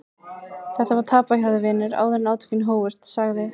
Þetta var tapað hjá þér vinur áður en átökin hófust, sagði